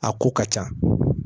A ko ka ca